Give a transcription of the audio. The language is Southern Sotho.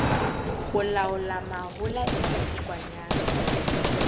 ho laola mahola le dikokwanyana